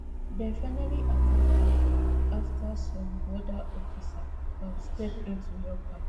dem finally allow her afta some border officer um step in to help her